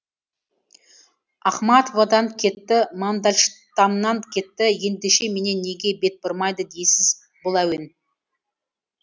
ахматовадан кетті мандельштамнан кетті ендеше менен неге бет бұрмайды дейсіз бұл әуен